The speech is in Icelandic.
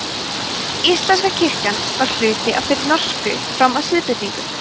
íslenska kirkjan var hluti af þeirri norsku fram að siðbreytingu